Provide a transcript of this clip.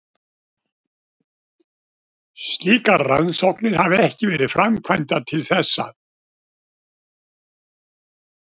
Slíkar rannsóknir hafa ekki verið framkvæmdar til þessa.